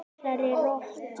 Þessari rottu.